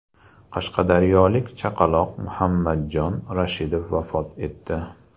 Qashqadaryolik chaqaloq Muhammadjon Rashidov vafot etdi.